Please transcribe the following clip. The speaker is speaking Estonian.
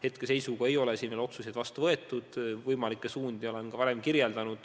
Hetkeseisuga ei ole veel otsuseid vastu võetud, võimalikke suundi olen ma varem kirjeldanud.